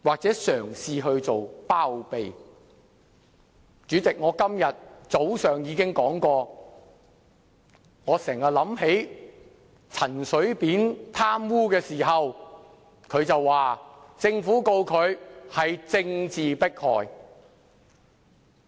主席，我今天早上已說過，我經常想起陳水扁被控貪污時表示，政府控告他是政治迫害。